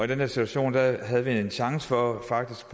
den her situation havde vi en chance for faktisk